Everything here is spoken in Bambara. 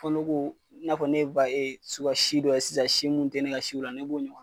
Fɔ ne k'o i n'a fɔ ba suga si dɔ ye sisan si mun te ne ka si la ne b'o ɲɔgɔn